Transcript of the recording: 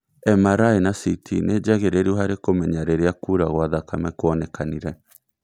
MRI na CT nĩ njagĩrĩru harĩ kũmenya rĩrĩa kura gwa thakame kwonekanire